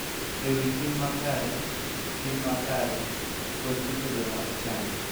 E wi tim makare, tim makare, kod rito joma ochando